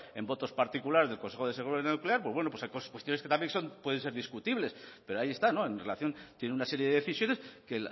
en votos particulares del consejo de seguridad nuclear pues bueno pues hay cuestiones que también pueden ser discutibles pero ahí está en relación tiene una serie de decisiones que